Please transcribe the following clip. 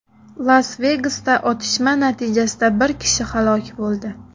Las-Vegasda otishma natijasida bir kishi halok bo‘ldi.